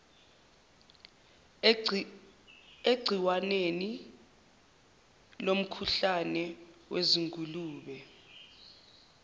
egciwaneni lomkhuhlane wezingulube